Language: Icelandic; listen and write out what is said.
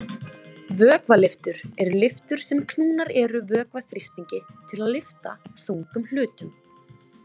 Vökvalyftur eru lyftur sem knúnar eru vökvaþrýstingi til að lyfta þungum hlutum.